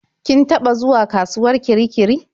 Kin taɓa zuwa kasuwar Kirikiri?